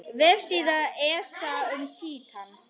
Vefsíða ESA um Títan.